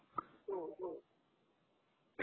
हो हो